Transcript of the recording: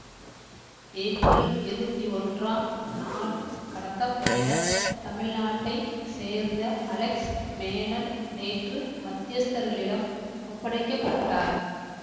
April இருவத்தி ஒன்றாம் நாள் கடத்தப்பட்ட தமிழ்நாட்டை சேர்ந்த அலெக்ஸ் மேனன் நேற்று மத்தியஸ்தர்களிடம் ஒப்படைக்கப்பட்டார்